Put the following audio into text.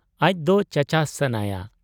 ᱟᱡᱫᱚ ᱪᱟᱪᱟᱥ ᱥᱟᱱᱟᱭᱟ ᱾